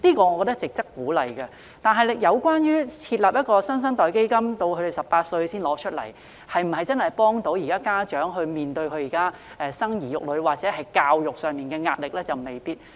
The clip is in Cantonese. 我覺得兒童發展基金值得鼓勵，但設立"新生代基金"，兒童年滿18歲才可提取，是否真的能夠幫助家長面對生兒育女或教育上的壓力呢？